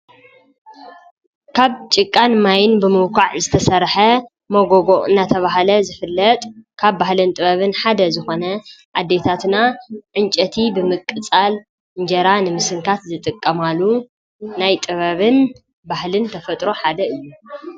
ካብ ጭቃን ማይን ብምውኳዕ ዝተሠርሐ መጎጎቕ እናተብሃለ ዝፍለጥ ካብ ባሕለን ጥበብን ሓደ ዝኾነ ኣደይታትና ዕንጨቲ ብምቅጻል እንጀራ ንምስንካት ዝጥቀማሉ ናይ ጥበብን ባህልን ተፈጥሮ ሓደ እዩ።